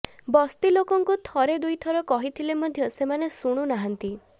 ବସ୍ତି ଲୋକଙ୍କୁ ଥରେ ଦୁଇଥର କହିଥିଲେ ମଧ୍ୟ ସେମାନେ ଶୁଣୁନାହାନ୍ତି